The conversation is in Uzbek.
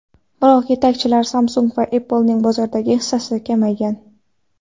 Biroq yetakchilar Samsung va Apple’ning bozordagi hissasi kamaygan.